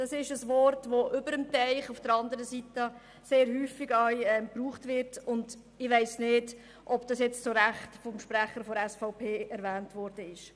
Ein Wort, welches auf der anderen Seite des Teichs sehr häufig verwendet wird, und ich weiss nicht, ob es vom Sprecher der SVP zu Recht verwendet worden ist.